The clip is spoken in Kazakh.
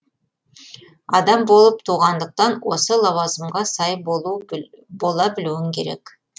адам болып туғандықтан осы лауазымға сай бола білуің керек